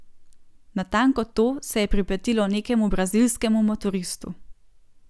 Natanko to se je pripetilo nekemu brazilskemu motoristu.